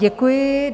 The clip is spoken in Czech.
Děkuji.